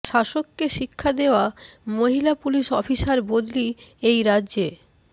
শাসককে শিক্ষা দেওয়া মহিলা পুলিশ অফিসার বদলি এই রাজ্যে